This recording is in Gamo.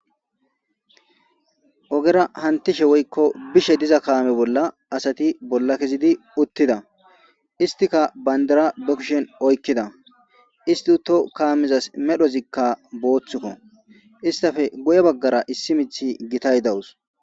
Ogera hantishe woykko bishe diza kaame bolla asati bolla kezidi uttida istika bayndara be kushen oykkida isti huto kaamizas medhozikka booththukko istafe guye baggara issi mithi gitay dawus